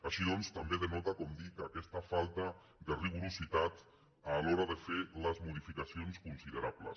així doncs també denota com dic aquesta falta de ri·gor a l’hora de fer les modificacions considerables